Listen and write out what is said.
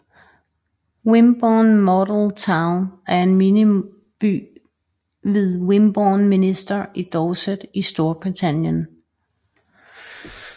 Wimborne Model Town er en miniby ved Wimborne Minster i Dorset i Storbritannien